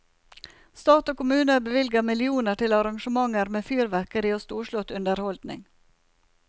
Stat og kommuner bevilger millioner til arrangementer med fyrverkeri og storslått underholdning.